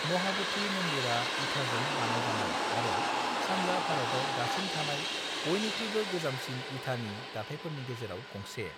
महाब'धि मन्दिरा इथाजों बानायजानाय आरो सानजा भारताव दासिम थानाय बयनिख्रुयबो गोजामसिन इथानि दाथायफोरनि गेजेराव गंसे।